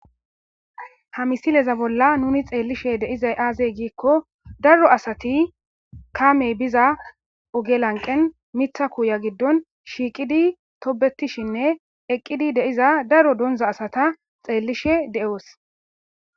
ha misileza bolla nuni xeellishe deizay aazey giikko daro asati kamey biza ogelanqen mitha kuuya giddon shiiqidi tobetishinne eqqidi deiza daro donza asata xeellishe de7oos